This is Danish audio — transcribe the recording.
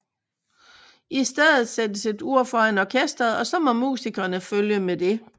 I stedet sættes et ur foran orkesteret og så må musikerne følge med det